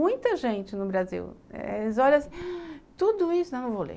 Muita gente no Brasil eh olha tudo isso... Não, não vou ler.